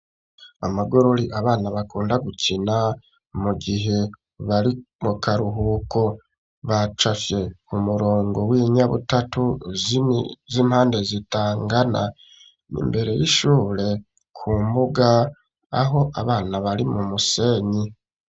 Amagorori abana bakunda gukina mu gihe bari mu karuhuko, bacafye umurongo w'inyabutatu z'impande zitangana , imbere y'ishure ku mbuga aho abana bari mu musenyi.